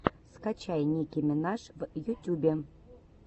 скачай ники минаж в ютюбе